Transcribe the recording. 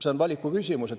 See on valiku küsimus.